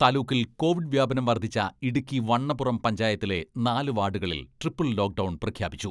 താലൂക്കിൽ കോവിഡ് വ്യാപനം വർധിച്ച ഇടുക്കി വണ്ണപ്പുറം പഞ്ചായത്തിലെ നാലു വാഡുകളിൽ ട്രിപ്പിൾ ലോക്ഡൗൺ പ്രഖ്യാപിച്ചു.